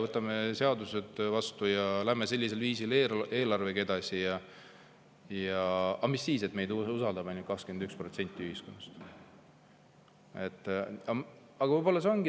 Võtame seadused vastu ja lähme sellisel viisil eelarvega edasi, mis siis, et meid usaldab ainult 21% ühiskonnast!